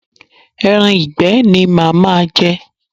Ẹran ìgbẹ́ ni màá ma je.